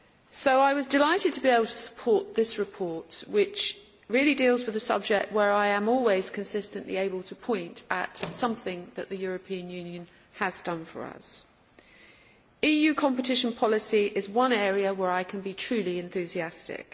So I was delighted to be able to support this report, which really deals with a subject where I am always consistently able to point at something that the European Union has done for us. EU competition policy is one area where I can be truly enthusiastic.